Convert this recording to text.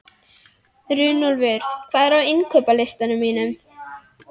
Runólfur, hvað er á innkaupalistanum mínum?